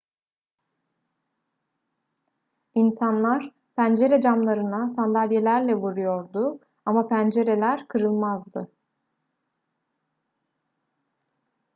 i̇nsanlar pencere camlarına sandalyelerle vuruyordu ama pencereler kırılmazdı